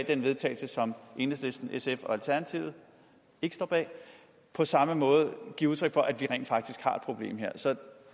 til vedtagelse som enhedslisten sf og alternativet ikke står bag på samme måde give udtryk for at vi rent faktisk har et problem her så